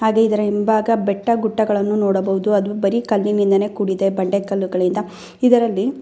ಯಾ ಕಲ್ಲಿನಿಂದ ಕೆತ್ತಿರುವ ಗೋಪುರವನ್ನು ನೋಡಬಹುದು . ಇದು ಹೆಚ್ಚು ಕಡಿಮೆ ಕಲ್ಲುಗಳಲ್ಲಿ ಕೆತ್ತಿರುವ ಗೋಪುರ ಎನ್ನಬಹುದು.